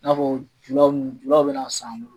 I n'a fɔ julaw , julaw be na san an bolo.